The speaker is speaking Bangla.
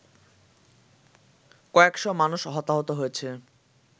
কয়েকশ মানুষ হতাহত হয়েছে